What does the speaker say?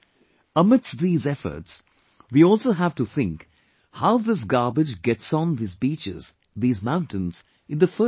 Amidst these efforts, we also have to think that this garbage gets on these beaches, these mountains in the first place